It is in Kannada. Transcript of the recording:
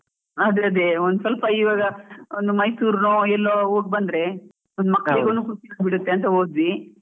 ಅದೇ ಅದೇ, ಒಂದ್ ಸ್ವಲ್ಪ ಈವಾಗ ಒಂದ್ ಮೈಸೂರ್ ಎಲ್ಲೊ ಹೋಗ್ ಬಂದ್ರೆ, ಮಕ್ಲಿಗೊಂದ್ ಬಿಡುತ್ತೆ ಅಂತ ಹೋದ್ವಿ.